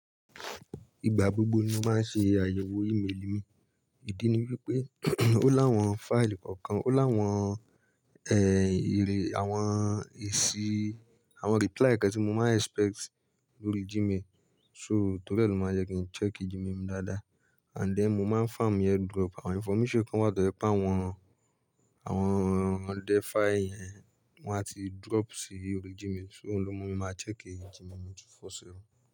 Ìgbà gbogbo ni mo máa ń ṣe àyẹ̀wò email mi. Ìdí ni wípé ó láwọn file kọ̀ọ̀kan, ó láwọn, èrè, àwọn èsì, àwọn reply kan tí mo máa expect lórí Gmail. So, torí e ló máa ń jẹ kí n check Gmail mi dáadáa. And then mo máa ń farm ẹ drop àwọn information kan to ye pẹ̀ àwọn, àwọn defy yẹn, wọn á ti drop sí orí Gmail. So ohun lo mú mi máa check Gmail mi 247.